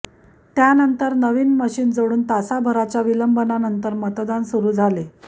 त्यानंतर नवीन मशीन जोडून तासाभराच्या विलंबानंतर मतदान सुरू झाले